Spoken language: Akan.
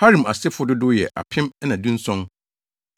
Harim asefo dodow yɛ 2 1,017